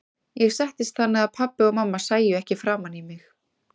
Ég settist þannig að pabbi og mamma sæju ekki framan í mig.